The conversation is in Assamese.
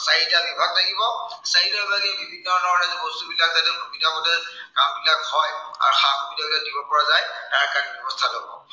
চাৰিটা বিভাগ থাকিব। চাৰিটা বিভাগে বিভিন্ন ধৰনে বস্তুবিলাক যাতে সুবিধা মতে কামবিলাক হয়, আৰু সা-সুবিধাবিলাক দিব পৰা যায় তাৰ কাৰনে ব্য়ৱস্থা লব।